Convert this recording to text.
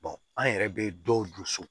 an yɛrɛ bɛ dɔw don so